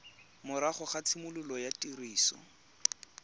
morago ga tshimologo ya tiriso